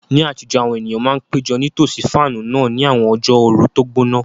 Ní àtijọ́, àwọn ènìyàn máa ń péjọ nítòsí fáànù náà ní àwọn ọjọ́ ooru tó gbóná.